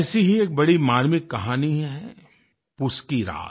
ऐसी ही एक बड़ी मार्मिक कहानी है पूस की रात